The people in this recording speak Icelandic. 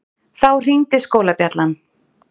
Þá hringdi skólabjallan.